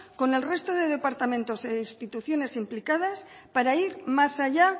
con el resto de departamentos e instituciones implicadas para ir más allá